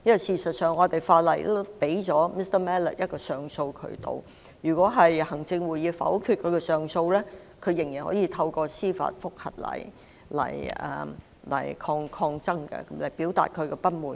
事實上，香港法例已提供 Mr MALLET 一個上訴渠道，如果行政會議否決他的上訴，他仍然可以透過司法覆核來抗爭，表達他的不滿。